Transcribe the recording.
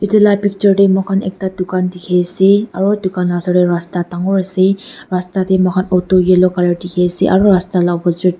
etu la picture tey moikhan ekta dukan dekhi ase aro dukan la osor tey rasta dangor ase rasta tey moikhan auto yellow colour dekhi ase aro rasta la opposite .